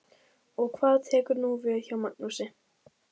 Og hvað tekur nú við hjá Magnúsi?